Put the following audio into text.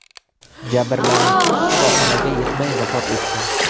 Jabrlanuvchi shifoxonaga yetmay vafot etdi.